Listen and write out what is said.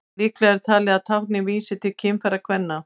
líklegra er talið að táknið vísi til kynfæra kvenna